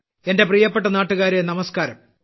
എന്റെ പ്രിയപ്പെട്ട നാട്ടുകാരേ നമസ്ക്കാരം